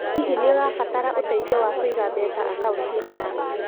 Hihi nĩ ũrabatara ũteithio wa kũiga mbeca akaũnti-inĩ yaku?